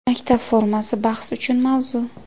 Maktab formasi – bahs uchun mavzu.